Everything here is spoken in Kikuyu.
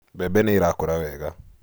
Mbembe nĩ irakũra wega